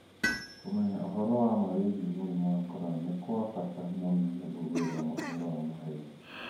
Kũmenya ũhoro wa ma wĩgiĩ mũrimũ wa corona nĩ kwa bata mũno nĩguo gwĩthema ũhoro wa maheeni.